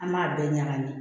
An b'a bɛɛ ɲagami